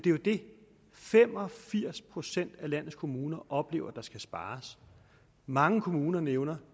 det fem og firs procent af landets kommuner oplever at der skal spares mange kommuner nævner